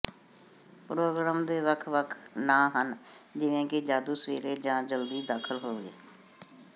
programme ਦੇ ਵੱਖ ਵੱਖ ਨਾਂ ਹਨ ਜਿਵੇਂ ਕਿ ਜਾਦੂ ਸਵੇਰੇ ਜਾਂ ਜਲਦੀ ਦਾਖਲ ਹੋਵੋ